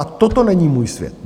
A toto není můj svět.